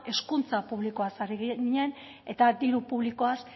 hezkuntza publikoaz ari ginen eta diru publikoaz